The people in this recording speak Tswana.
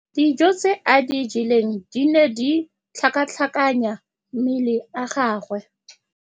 Dijô tse a di jeleng di ne di tlhakatlhakanya mala a gagwe.